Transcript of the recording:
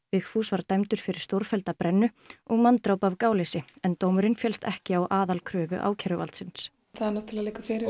Vigfús var dæmdur fyrir stórfellda brennu og manndráp af gáleysi en dómurinn féllst ekki á aðalkröfu ákæruvaldsins það náttúrulega liggur fyrir